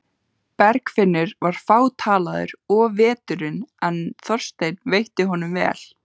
Bergfinnur var fátalaður of veturinn en Þorsteinn veitti honum vel.